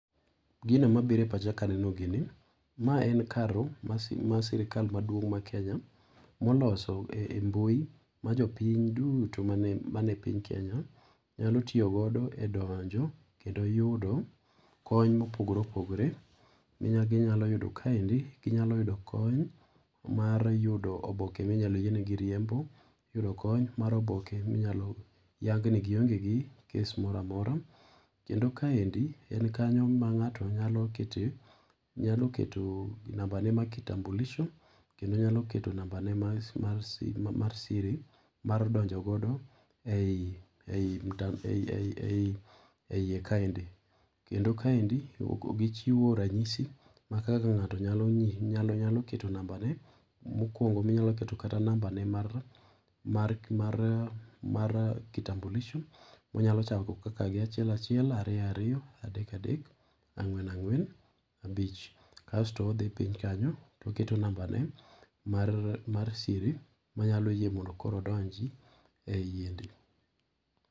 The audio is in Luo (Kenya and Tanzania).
Gina mabiro e pacha ka aneno gini ,ma en kanyo mar sirikal maduong mar Kenya moloso e mbui ma jopiny duto mane piny Kenya nyalo tiyo godo donjo kendo yudo kony mopogore opogore magi nyalo yudo kaendi, ginyalo yudo kony mar yudo oboke ma inyalo yiene gi riembo ,yudo kony mar oboke minyalo yang' ni gi onge gi case moro amora, kendo kaendi en kanyo mang'ato nyalo keto, nyalo keto nambane mar kitambulisho kendo nyalo keto nambane mar kitambulisho kendo nyalo keto namba ne mar siri mar donjo godo e iye kaendi. Kendo kae gichiwo ranyisi mar kaka ng'ato nyalo keto nambane mar mokuongo minyalo keto nambane mar kitambulisho ,onyalo chako gi achie achiel ,ariyo ariyo, adek adek, angwen angwen abich kasto odhi piny kanyo to oketo nambane mar siri manyalo yie mondo koro odonji e yiende.